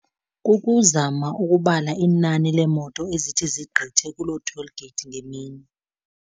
Kukuzama ukubala inani leemoto ezithi zigqithe kuloo toll gate ngemini.